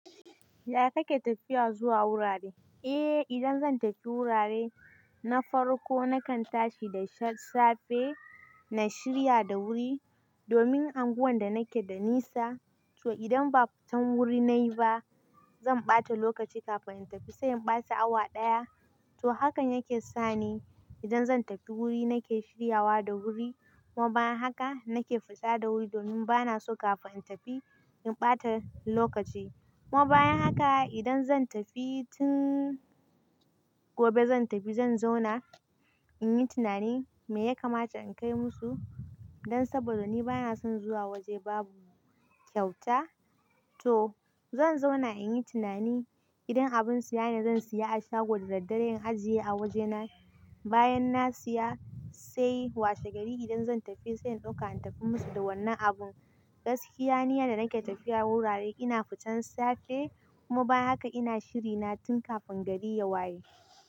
Yaya kake tafiya zuwa wurare? Eh, idan zan tafi wurare na farko, nakan tashi da safe na shirya da wuri domin anguwan da nake da nisa. To, idan ba fitan wuri nayi ba, zan ɓata lokaci kafin in tafi, sai in ɓata awa ɗaya. To, hakan yake sa ni idan zan tafi wuri nake shiryawa da wuri, kuma bayan haka nake fita da wuri domin bana so kafin in tafi in ɓata lokaci. Kuma bayan haka idan zan tafi tin gobe zan tafi, zan zauna in yi tunani me ya kamata in kai musu don saboda ni bana son zuwa waje babu kyauta. To, zan zauna in yi tunani idan abin siya ne zan siya a shagon da daddare in ajiye a wajena. Bayan na siya sai washe gari idan zan tafi sai in ɗauka in tafi musu da wannan abun. Gaskiya, ni da nake tafiya wurare ina fitan safe kuma bayan haka ina shiri na tun kafin gari ya waye.